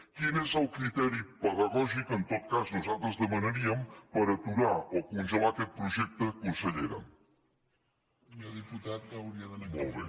quin és el criteri pedagògic en tot cas nosaltres ho demanaríem per aturar o congelar aquest projecte consellera molt bé